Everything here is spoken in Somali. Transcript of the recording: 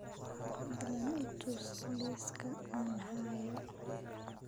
fadlan i tus liiska aan hayo